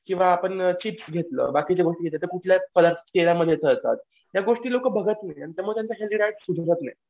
किंवा आपण चिप्स घेतलं बाकीच्या गोष्टी तेलामध्ये जातात. या गोष्टी लोकं बघत नाही आणि त्यामुळे त्यांची लाईफ सुधरत नाही.